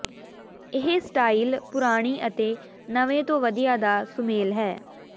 ਇਹ ਸਟਾਈਲ ਪੁਰਾਣੀ ਅਤੇ ਨਵੇਂ ਤੋਂ ਵਧੀਆ ਦਾ ਸੁਮੇਲ ਹੈ